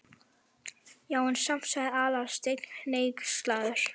Já, en samt sagði Aðalsteinn hneykslaður.